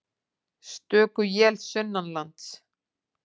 Stöku él sunnanlands